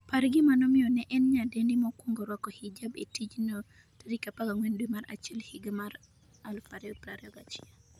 par gima nomiyo ne en nyadendi mokwongo rwako hijab e tijno14 dwe mar achiel higa mar 2021